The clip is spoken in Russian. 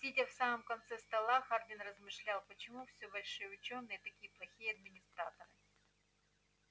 сидя в самом конце стола хардин размышлял почему все большие учёные такие плохие администраторы